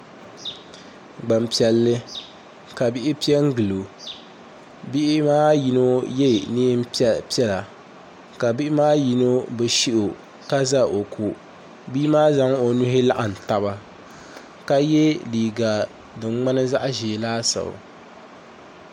Gbanpiɛlli ka bihi piɛ n gilo bihi maa yino yɛ neen piɛla ka bihi maa yino ni shio ka ʒɛ o ko bia maa zaŋla o nuhi laɣam taba ka yɛ liiga din ŋmani zaɣ ʒiɛ laasabu